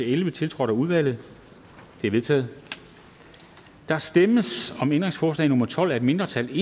elleve tiltrådt af udvalget det er vedtaget der stemmes om ændringsforslag nummer tolv af et mindretal